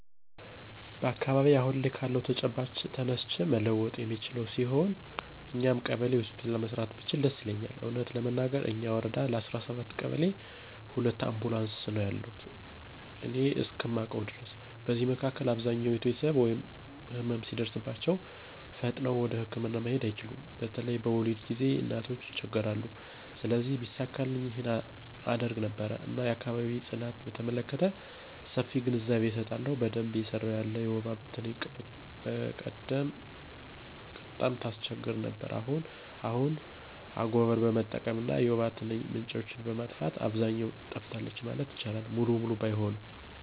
በአካባቢየ አሁን ካለው ተጨባጭ ተነስቼ መለወጥ የምችለው ቢሆን እኛው ቀበሌ ሆስፒታል መስራት ብችል ደስ ይለኛል። እውነት ለመናገር እኛ ወረዳ ለ17 ቀበሌ ሁለት አምቡላንስ ነው ያሉ እኔ እስከማውቀው ድረስ። በዚህ መካከል አብዛኞች ቤተሰቦች ህመም ሲደርስባቸው ፈጥነው ወደህክምና መሄድ አይችሉም በተለይ በወሊድ ጊዜ እናቶች ይቸገራሉ። ስለዚህ ቢሳካልኝ ይህን አደርግ ነበር። እና የአካባቢ ጽዳትን በተመለከተ ሰፊ ግንዛቤ አሰጣለሁ። በደንብ እየሰራ ያለ የወባ ትንኝ በቀደም ቀጣም ታስቸግር ነበር አሁን አሁን ግን አጎቀር በመጠቀም እና የወባ ትንኝ ምንጮችን በማጥፋት አብዛኛው ጠፍታለች ማለት ይቻላል ሙሉ በሙሉ ባይሆንም።